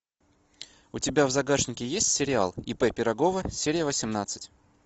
у тебя в загашнике есть сериал ип пирогова серия восемнадцать